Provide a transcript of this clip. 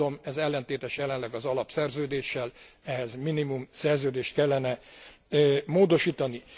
Ez ellentétes jelenleg az Alapszerződéssel, ehhez minimum szerződést kellene módosítani.